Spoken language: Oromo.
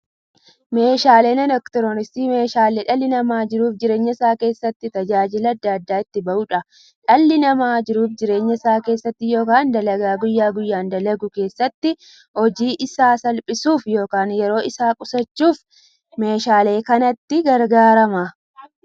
Meeshaaleen elektirooniksii meeshaalee dhalli namaa jiruuf jireenya isaa keessatti, tajaajila adda addaa itti bahuudha. Dhalli namaa jiruuf jireenya isaa keessatti yookiin dalagaa guyyaa guyyaan dalagu keessatti, hojii isaa salphissuuf yookiin yeroo isaa qusachuuf meeshaalee kanatti gargaarama.